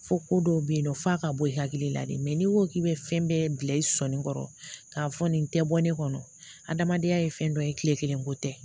Fo ko dɔw be yen nɔ f'a ka bɔ i hakili la de mɛ n'i ko k'i be fɛn bɛɛ bila i sɔnni kɔrɔ k'a fɔ nin tɛ bɔ ne kɔnɔ adamadenya ye fɛn dɔ ye kile kelen ko tɛ